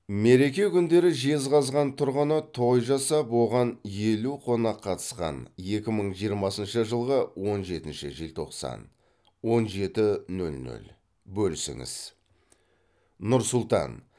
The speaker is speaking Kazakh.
мереке күндері жезқазған тұрғыны той жасап оған елу қонақ қатысқан екі мың жиырмасыншы жылғы он жетінші желтоқсан он жеті нөль нөль бөлісіңіз нұр сұлтан